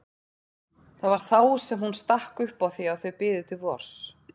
Það var þá sem hún stakk upp á því að þau biðu til vors.